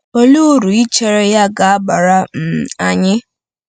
Olee uru ichere ya ga-abara um anyị?